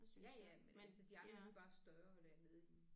Ja ja men altså de andre de er bare større dernede i